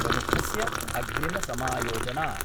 प्रमुखस्य अग्रिमसमायोजना